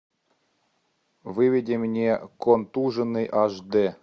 выведи мне контуженный аш д